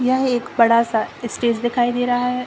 यह एक बड़ा सा ईस्टेज दिखाई दे रहा है।